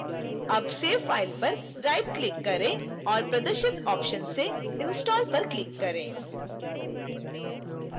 अब save file पर rightclick करें और प्रद्रशित options से install पर click करें